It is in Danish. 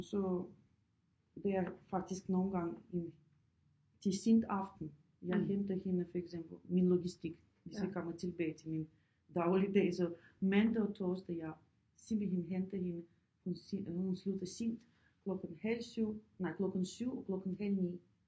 Så det er faktisk nogle gange en til til sent aften jeg henter hende for eksempel min logistik hvis jeg kommer tilbage til min dagligdag så mandag og torsdag jeg simpelthen henter hende hun slutter sent klokken halv 7 nej klokken 7 og klokken halv 9